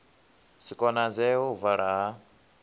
si konadzee u vala ha